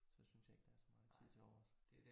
Så synes jeg ikke der er så meget tid til overs